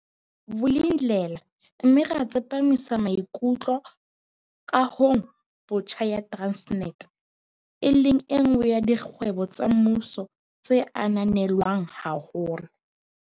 Vulindlela mme ra tsepa misa maikutlo kahong botjha ya Transnet, e leng enngwe ya dikgwebo tsa mmuso tse ananelwang haholo.